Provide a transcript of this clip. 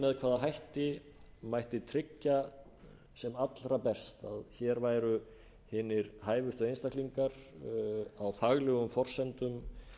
með hvaða hætti mætti tryggja sem allra best að hér væru hinir hæfustu einstaklingar á faglegum forsendum